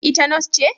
Ita Nurse ce?